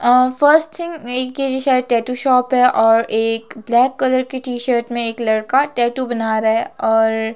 और first thing ये शायद एक टैटू शॉप है और एक ब्लैक कलर की टी- शर्ट में एक लड़का टैटू बना रहा और--